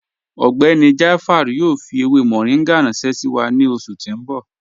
Ọgbẹ́ni Jaafar yoo fi ewé moringa ranṣẹ̀ sí wa ni oṣù ti n bọ̀.